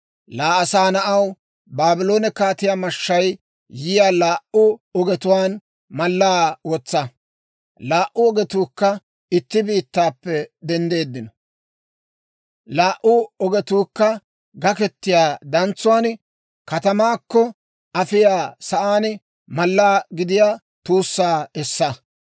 «Laa asaa na'aw, Baabloone kaatiyaa mashshay yiyaa laa"u ogetuwaan mallaa wotsa. Laa"u ogetuukka itti biittaappe denddiino. Laa"u ogetuu gakketiyaa dantsuwaan katamaakko afiyaa sa'aan malla gidiyaa tuussaa essa.